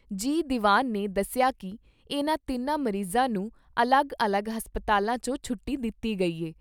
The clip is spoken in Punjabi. ਜੀ ਦੀਵਾਨ ਨੇ ਦੱਸਿਆ ਕਿ ਇਨ੍ਹਾਂ ਤਿੰਨਾਂ ਮਰੀਜ਼ਾਂ ਨੂੰ ਅਲੱਗ ਅਲੱਗ ਹਸਪਤਾਲਾਂ ' ਚੋਂ ਛੁੱਟੀ ਦਿੱਤੀ ਗਈ ਐ।